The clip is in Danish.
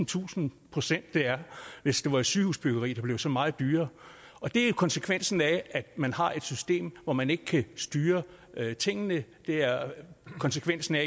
tusinde procent det er hvis det var et sygehusbyggeri der blev så meget dyrere og det er konsekvensen af at man har et system hvor man ikke kan styre tingene det er konsekvensen af